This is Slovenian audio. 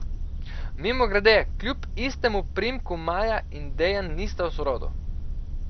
Mimogrede, kljub istemu priimku Maja in Dejan nista v sorodu.